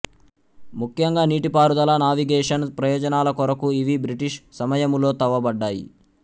ముఖ్యంగా నీటిపారుదల నావిగేషన్ ప్రయోజనాల కొరకు ఇవి బ్రిటీష్ సమయములో తవ్వబడ్డాయి